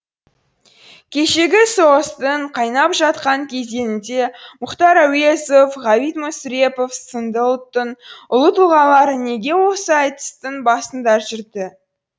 кешегі соғыстың қайнап жатқан кезеңінде мұхтар әуезов ғабит мүсірепов сынды ұлттың ұлы тұлғалары неге осы айтыстың басында жүрді